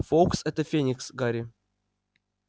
фоукс это феникс гарри